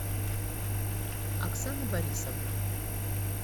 оксана борисовна